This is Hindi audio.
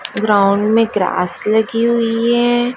ग्राउंड में ग्रास लगी हुई है।